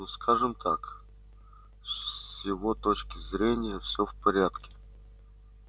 ну скажем так с его точки зрения все в порядке